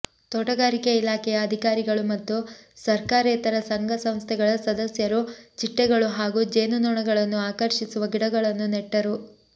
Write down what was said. ತೋಟಗಾರಿಕೆ ಇಲಾಖೆಯ ಅಧಿಕಾರಿಗಳು ಮತ್ತು ಸರ್ಕಾರೇತರ ಸಂಘ ಸಂಸ್ಥೆಗಳ ಸದಸ್ಯರು ಚಿಟ್ಟೆಗಳು ಹಾಗೂ ಜೇನು ನೊಣಗಳನ್ನು ಆಕರ್ಷಿಸುವ ಗಿಡಗಳನ್ನು ನೆಟ್ಟರು